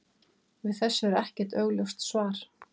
Við þessu er ekkert augljóst svar.